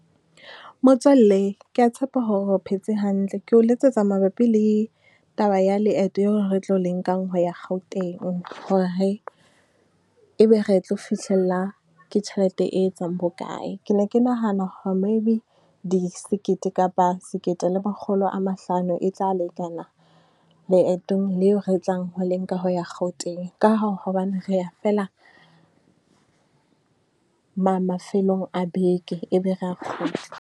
Motswalle ke ya tshepa hore o phetse hantle. Ke o letsetsa mabapi le taba ya leeto eo re tlo le nkang ho ya Gauteng, hore e be re tlo fihlella ke tjhelete e etsang bokae? Ke ne ke nahana hore maybe di sekete kapa sekete le makgolo a mahlano e tla lekana leetong leo re tlang ho le nka ho ya Gauteng. Ka hao hobane re ya feela, mafelong a beke, e be re ya kgutla.